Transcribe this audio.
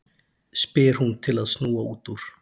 spyr hún til að snúa út úr.